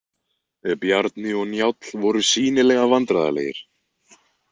Bjarni og Njáll voru sýnilega vandræðalegir.